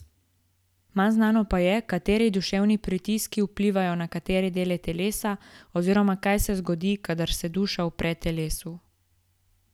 Manj znano pa je, kateri duševni pritiski vplivajo na katere dele telesa oziroma kaj se zgodi, kadar se duša upre telesu.